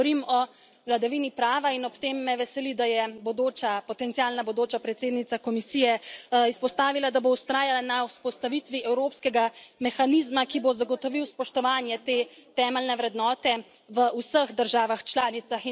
Govorim o vladavini prava in ob tem me veseli, da je potencialna bodoča predsednica Komisije izpostavila, da bo vztrajala na vzpostavitvi evropskega mehanizma, ki bo zagotovil spoštovanje te temeljne vrednote v vseh državah članicah.